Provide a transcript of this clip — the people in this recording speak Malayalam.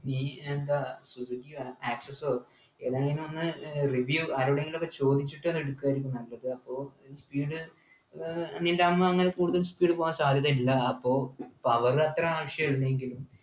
നീ എന്താ സുസുക്കി access ഓ ഏതായാലും അന്ന് review ആരോടെങ്കിലും ഒക്കെ ചോദിച്ചിട്ട് എന്നെ എടുക്കായിരിക്കും നല്ലത് അപ്പൊ speed ഏർ ങ്ങനെയുണ്ടാകുമ്പോ എങ്ങനെ കൂടുതൽ speed പോകാൻ സാധ്യതയില്ല അപ്പൊ power അത്ര ആവശ്യമില്ലെങ്കിലും